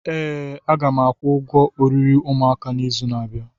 Ee, a ga m akwụ ụgwọ oriri ụmụaka n'izu na-abịa.